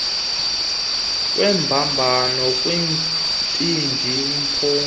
kwembambano kumbindi mpuma